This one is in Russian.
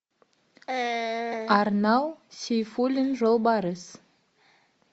арнал сейфуллин жолбарыс